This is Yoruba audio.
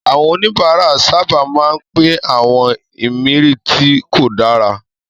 Àwọn oníbàárà sábà máa ń pín àwọn ìmirí tí kò dára.